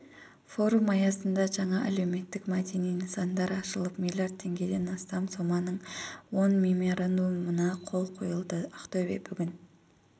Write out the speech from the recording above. форум аясында жаңа әлеуметтік-мәдени нысандар ашылып миллиард теңгеден астам соманың он меморандумына қол қойылады ақтөбе бүгін